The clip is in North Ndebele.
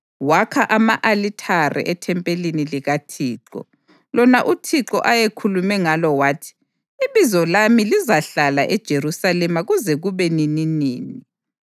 Wakha ama-alithare ethempelini likaThixo, lona uThixo ayekhulume ngalo wathi: “IBizo lami lizahlala eJerusalema kuze kube nininini.”